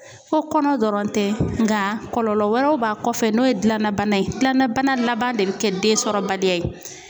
Ko kɔnɔ dɔrɔn tɛ nka kɔlɔlɔ wɛrɛw b'a kɔfɛ n'o ye gilanna bana ye. Gilanna bana laban de be kɛ den sɔrɔbaliya ye.